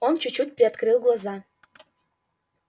он чуть-чуть приоткрыл глаза